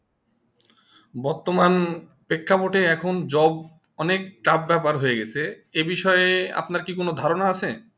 বর্তমান শিক্ষা board এ এখন job অনেক tough ব্যাপার হয়ে গাছে যে বিষয়ে কি আপনা কি কোনো ধারণা আছে